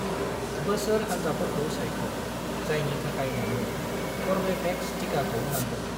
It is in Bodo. बोसोर हान्जाफोरखौ सायख' जायनि थाखाय नोंनो कर्वेभेक्स टिकाखौ नांगौ।